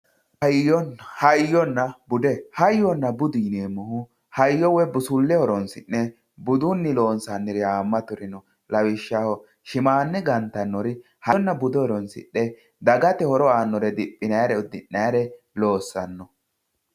hayyonna bude hayyonna bude yineemohu hayyo woyi busulle horronsi'ne budunni budunni loonsaniri haamaturi no lawishshaho shimaane ganttannori hayyonna bude horonsixe dagate horo aanore diphinayiire udiinayiire loosanno.